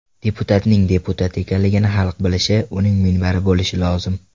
Deputatning deputat ekanligini xalq bilishi, uning minbari bo‘lishi lozim.